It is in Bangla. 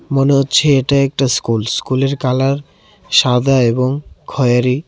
মনে হচ্ছে এটা একটা স্কুল স্কুলের কালার সাদা এবং খয়েরি.